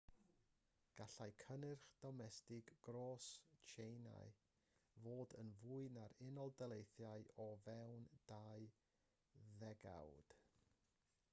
gallai cynnyrch domestig gros tsieina fod yn fwy na'r unol daleithiau o fewn dau ddegawd